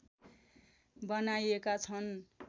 बनाइएका छन्